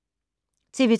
TV 2